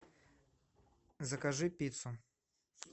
закажи пиццу